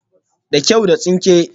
Da kyau, da tsinke